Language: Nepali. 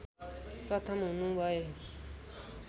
प्रथम हुनु भए